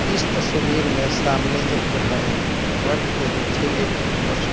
इस तस्वीर में सामने एक घर है घर के नीचे एक स्कू--